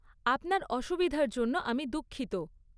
আপনার অসুবিধার জন্য আমি দুঃখিত।